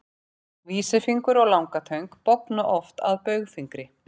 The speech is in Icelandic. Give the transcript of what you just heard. Vísifingur og langatöng bogna oft að baugfingri.